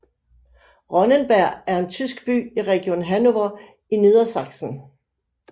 Ronnenberg er en tysk by i Region Hannover i Niedersachsen